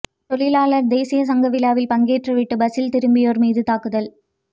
தொழிலாளர் தேசிய சங்க விழாவில் பங்கேற்றுவிட்டு பஸ்ஸில் திரும்பியோர் மீது தாக்குதல்